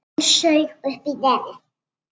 Hún saug upp í nefið.